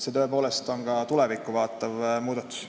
See on tõepoolest tulevikku vaatav muudatus.